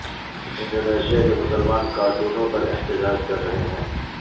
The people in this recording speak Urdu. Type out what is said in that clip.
انڈونیشیا کے مسلمان کارٹونوں پر احتجاج کر رہے ہیں